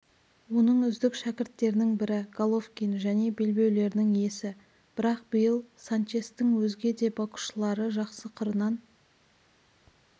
оның үздік шәкірттерінің бірі головкин және белбеулерінің иесі бірақ биыл санчестің өзге де боксшылары жақсы қырынан